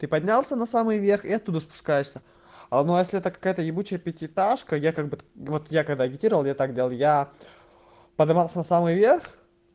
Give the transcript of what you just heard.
ты поднялся на самый верх и оттуда спускаешься а ну если это какая-то ебучая пятиэтажка я как бы вот я когда агитировал я так делал я подымался на самый верх